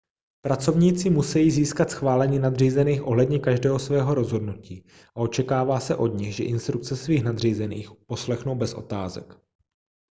pracovníci musejí získat schválení nadřízených ohledně každého svého rozhodnutí a očekává se od nich že instrukce svých nadřízených uposlechnou bez otázek